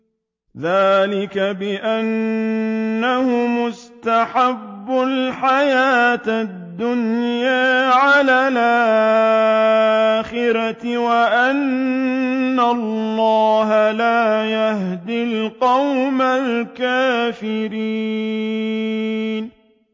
ذَٰلِكَ بِأَنَّهُمُ اسْتَحَبُّوا الْحَيَاةَ الدُّنْيَا عَلَى الْآخِرَةِ وَأَنَّ اللَّهَ لَا يَهْدِي الْقَوْمَ الْكَافِرِينَ